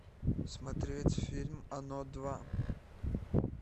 смотреть фильм оно два